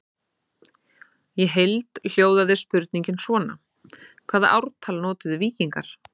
Í heild hljóðaði spurningin svona: Hvaða ártal notuðu víkingar?